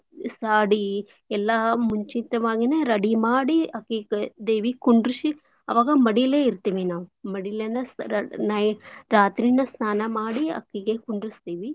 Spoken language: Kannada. ಸ್~ शादी ಎಲ್ಲಾ ಮುಂಚಿತ್ವಾಗೇನೇ ready ಮಾಡಿ ಅಕಿಗ ದೇವಿ ಕುಂಡ್ರ್ಸಿ ಆವಾಗಾ ಮಡೀಲೇ ಇರ್ತೀವಿ ನಾವ್ ಮಡಿಲೇನ ಸ~ ನೈ~ ರಾತ್ರೀನ ಸ್ನಾನ ಮಾಡಿ ಅಕಿಗೆ ಕುಂಡ್ರುಸ್ತೀವಿ.